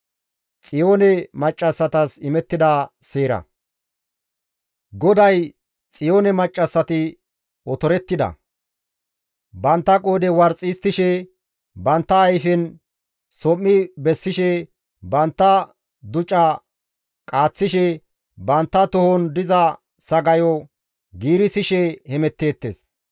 GODAY, «Xiyoone maccassati otorettida; bantta qoodhe warxi histtishe, bantta ayfen som7i bessishe, bantta duca qaaththishe, bantta tohon diza sagayo giirissishe hemetteettes.